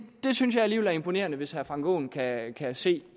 det synes jeg alligevel er imponerende altså hvis herre frank aaen kan se